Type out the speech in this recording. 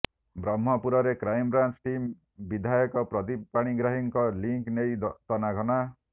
ବ୍ରହ୍ମପୁରରେ crime branch team ବିଧାୟକ ପ୍ରଦୀପ ପାଣିଗ୍ରାହୀଙ୍କ ଲିଙ୍କ୍ ନେଇ ତନାଘନା